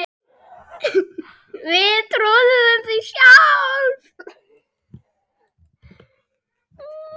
Við trúðum því sjálf.